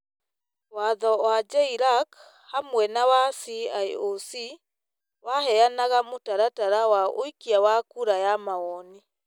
Watho ma JLAC hamwe na wa CIOC waheanaga mũtaratara wa ũikia wa kura ya mawoni,